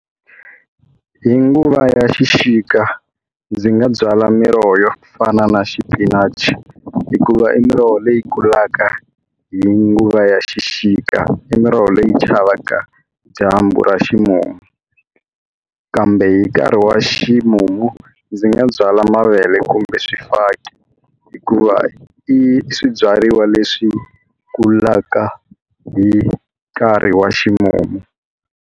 Hi nguva ya xixika ndzi nga byala miroho yo fana na xi spinach hikuva i miroho leyi kulaka hi nguva ya xixika i miroho leyi chavaka dyambu ra ximumu kambe hi nkarhi wa ximumu ndzi nga byala mavele kumbe swifaki hikuva i swibyariwa leswi kulaka hi nkarhi wa ximumu.